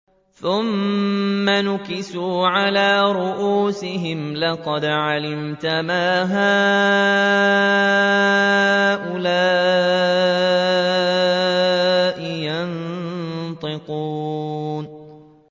ثُمَّ نُكِسُوا عَلَىٰ رُءُوسِهِمْ لَقَدْ عَلِمْتَ مَا هَٰؤُلَاءِ يَنطِقُونَ